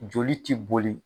Joli ti boli